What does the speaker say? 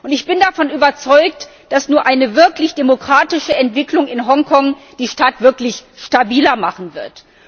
Ich bin davon überzeugt, dass nur eine wirklich demokratische Entwicklung in Hongkong die Stadt wirklich stabiler machen wird.